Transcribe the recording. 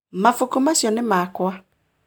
Mabuku macio nĩ makwa